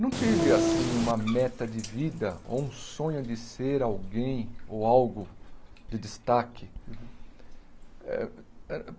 Não tive, assim, uma meta de vida ou um sonho de ser alguém ou algo de destaque. Eh eh